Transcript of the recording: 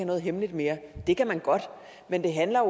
noget hemmeligt mere det kan man godt men det handler